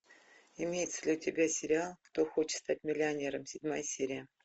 имеется ли у тебя сериал кто хочет стать миллионером седьмая серия